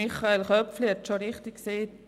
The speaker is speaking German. Michael Köpfli hat es bereits richtig gesagt: